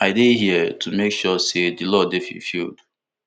i dey here to make sure say di law dey fulfilled